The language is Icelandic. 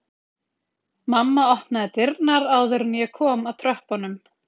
Mamma opnaði dyrnar áður en ég kom að tröppunum